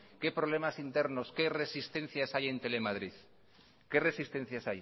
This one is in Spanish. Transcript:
qué problemas internos qué resistencias hay en telemadrid qué resistencias